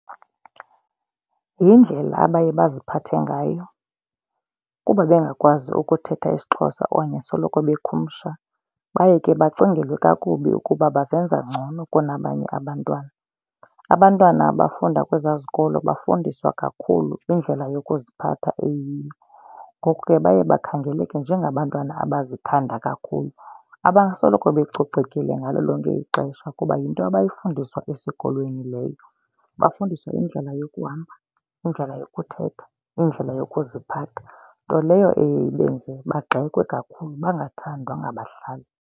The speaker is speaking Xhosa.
Yindlela abaye baziphathe ngayo kuba bengakwazi ukuthetha isiXhosa okanye soloko bekhumsha. Baye ke bacingelwe kakubi ukuba bazenza ngcono kunabanye abantwana. Abantwana abafunda kwezaa zikolo bafundiswa kakhulu indlela yokuziphatha eyiyo. Ngoku ke baye bakhangeleke njengabantwana abazithanda kakhulu abasoloko becocekile ngalo lonke ixesha kuba yinto abayifundiswa esikolweni leyo. Bafundiswa indlela yokuhamba, indlela yokuthetha, indlela yokuziphatha nto leyo ibenze bagxekwe kakhulu, bangathandwa ngabahlali.